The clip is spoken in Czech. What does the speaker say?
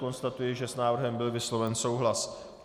Konstatuji, že s návrhem byl vysloven souhlas.